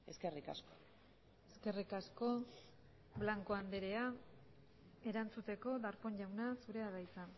eskerrik asko eskerrik asko blanco andrea erantzuteko darpón jauna zurea da hitza